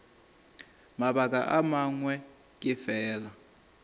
mabaka a mangwe ke fela